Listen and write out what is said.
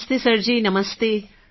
નમસ્તે સરજી નમસ્તે